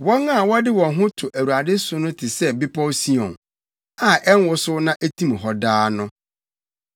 Wɔn a wɔde wɔn ho to Awurade so no te sɛ Bepɔw Sion, a ɛnwosow na etim hɔ daa no.